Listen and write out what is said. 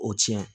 O tiɲɛ